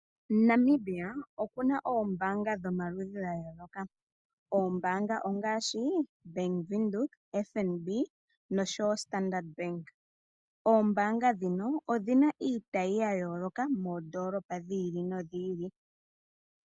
Namibia okuna oombanga dhomaludhi ga yoloka, oombanga ongashi Bank windhoek, FNB noshowo Standardbank. Oombanga dhino odhina iitayi ya yoloka moondolopa dhi ili nodhi ili.